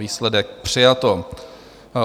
Výsledek: přijato.